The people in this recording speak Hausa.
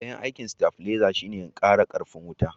dayan aikin stabileza shi ne in kara karfin wuta